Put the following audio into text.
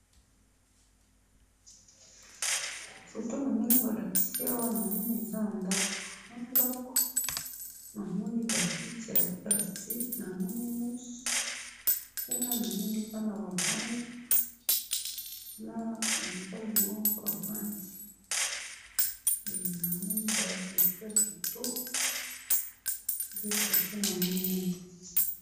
Foto namoni balakisi awa , namoni eza ndako, na ndako namoni ba kiti ya plastic, namoni mesa, kuna namoni bana ba vandi, na mobali moko avandi, eh! Namoni ba rideau yakitoko, nde foto namoni awa.